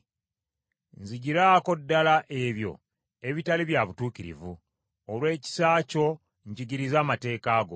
Nzigiraako ddala ebyo ebitali bya butuukirivu; olw’ekisa kyo njigiriza amateeka go.